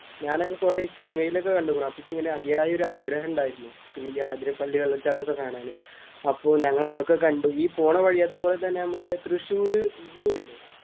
ഞാനൊക്കെ കൊറേ സിനിമയിലൊക്കെ കണ്ടിരിക്കണു. അപ്പൊ ഇച്ചിങ്ങനെ അതിയായ ഒരാഗ്രഹം ഉണ്ടായിരുന്നു. പിന്നെ ഈ ആതിരപ്പള്ളി വെള്ളച്ചാട്ടം ഒക്കെ കാണാന്. അപ്പൊ ഞങ്ങള് അതൊക്കെ കണ്ടു. ഈ പോണവഴി നമ്മടെ തൃശൂര്‍ സൂ ഇല്ലേ?